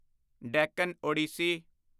Deccan Odissi